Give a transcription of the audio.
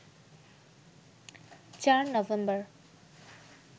৪ November